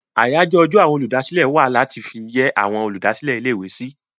Àyájọ́ ọjọ́ àwọn olùdásílẹ̀ wà láti fi yẹ́ àwọn olùdásílẹ̀ ilé-ìwé sí.